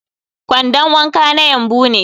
kwandon wanka na yumbu ne